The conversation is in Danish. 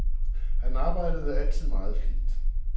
Han arbejdede altid meget flittigt.